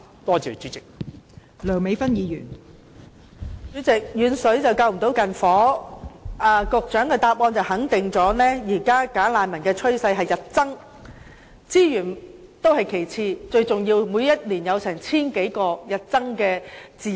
代理主席，有謂"遠水不能救近火"，局長的答覆肯定了現時"假難民"有日增趨勢，資源問題是其次，最重要是他們每年涉及千多宗案件，影響治安。